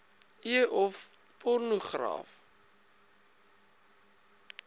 e of pornogra